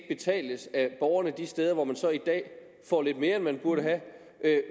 betales af borgerne de steder hvor man så i dag får lidt mere end man burde have